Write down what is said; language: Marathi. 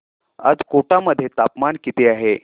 आज कोटा मध्ये तापमान किती आहे